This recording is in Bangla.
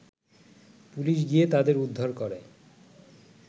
পুলিশ গিয়ে তাদের উদ্ধার করে